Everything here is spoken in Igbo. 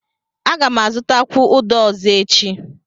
Aga m azụtakwụ uda ọzọ echi.